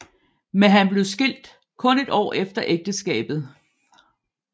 Men han blev skilt kun et år efter ægteskabet